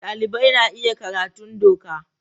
Dalibai na iya karatun doka.